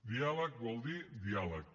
diàleg vol dir diàleg